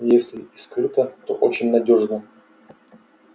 если и скрыто то очень надёжно